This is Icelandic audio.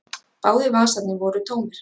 Báðir vasarnir voru tómir.